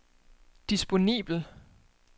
disponibel